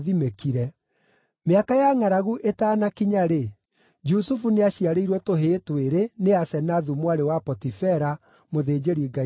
Mĩaka ya ngʼaragu ĩtaanakinya-rĩ, Jusufu nĩaciarĩirwo tũhĩĩ twĩrĩ nĩ Asenathu mwarĩ wa Potifera, mũthĩnjĩri-ngai wa Onu.